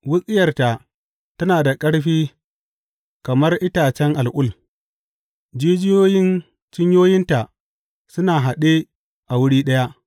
Wutsiyarta tana da ƙarfi kamar itacen al’ul; jijiyoyin cinyoyinta suna haɗe a wuri ɗaya.